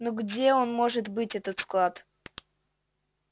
ну где он может быть этот склад